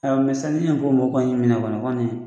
ni mɔw kɔni y'i minɛ kɔni.